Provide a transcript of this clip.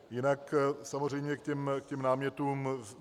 Jinak samozřejmě k těm námětům.